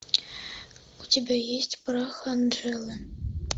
у тебя есть прах анжелы